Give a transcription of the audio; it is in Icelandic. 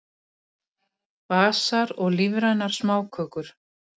Basar og lífrænar smákökur